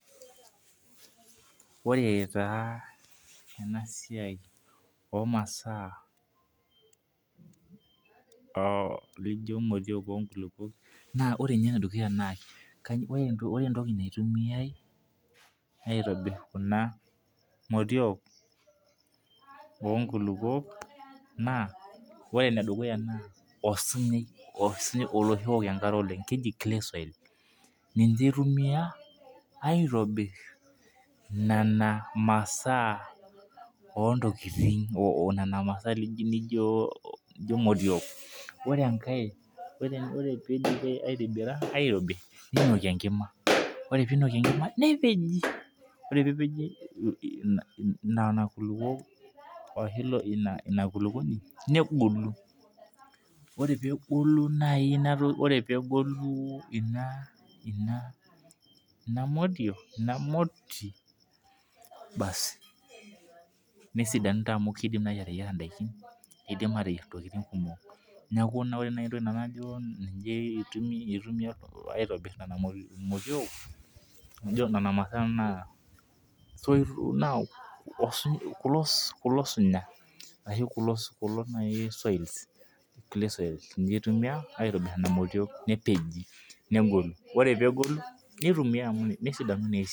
Ore taa ena siai oo maasaa lijo motiok oo nkulupuok ore niye ene dukuya ore entoki naitumia aitobir kuna motiok oo nkulupuok naa ore ene dukuyaa naa osinyai osinyai oloshi ook enkare oleng' keji clay soil. Ninche itumia aitobir nena maasa oo ntokitin nena maasaa naijo motiok ore enkae ore pidipi aitobira ninoki enkima ore pinoki enkima nepeji ore pepeji nena kulopuok ore pee epeji ina kulupuoni negolu ire pegolu ina ina ina motii baasi nesidanu naa kidimi naji ateyiara idaikin nidim ateyiara intokitin kumok. Neeku ore entoki najo nai nanu itumia aitobir nena maasa naa soitik kulo sunyai kulo claysoils ninche itumia aitobir nena motiok nepeji negolu nitumia amu nesidanu naa esiai.